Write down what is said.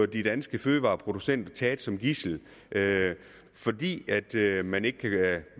de danske fødevareproducenter bliver taget som gidsler fordi